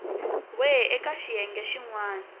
we eka xiyenge xin wana